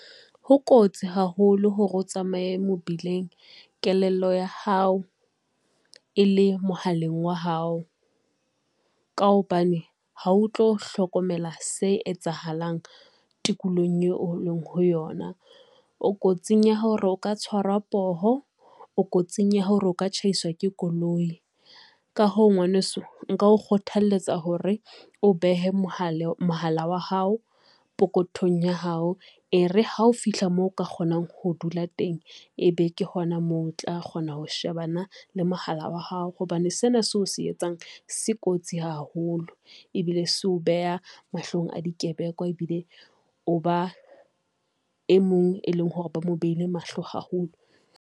Ho kotsi haholo hore o tsamaye mobileng kelello ya hao e le mohaleng wa hao, ka hobane ha o tlo hlokomela se etsahalang tikolohong eo e leng ho yona. O kotsing ya hore o ka tshwara poho, o kotsing ya hore o ka tjhaisa ke koloi. Ka ho ngwaneso nka o kgothaletsa hore o behe mohala wa hao pokothong ya hao. E re ha o fihla moo o ka kgonang ho dula teng, e be ke hona moo o tla kgona ho shebana le mohala wa hao, hobane sena seo se etsang se kotsi haholo ebile so beha mahlong a dikebekoa ebile o ba e mong, e leng hore ba mo beile mahlo haholo.